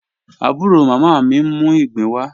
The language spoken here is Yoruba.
Abúró mámá mí n mú igbin wà.